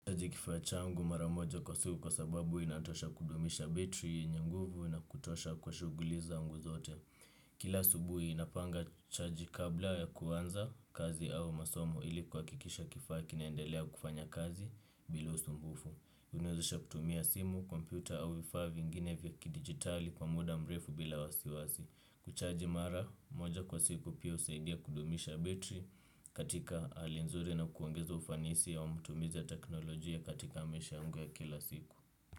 Nachaji kifaa changu mara moja kwa siku kwa sababu inatosha kudumisha betri yenye nguvu na kutosha kwa shughuli zangu zote. Kila asubuhi napanga chaji kabla ya kuanza kazi au masomo ili kuhakikisha kifaa kinaendelea kufanya kazi bila usumbufu. Huniwezesha kutumia simu, kompyuta au vifaa vingine vya kidigitali kwa muda mrefu bila wasiwasi. Kuchaji mara moja kwa siku pia husaidia kudumisha betri katika hali nzuri na kuongeza ufanisi wa matumizi ya teknolojia katika maisha yangu ya kila siku.